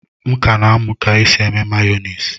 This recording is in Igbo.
M ka na-amụ ka e si eme mayonisi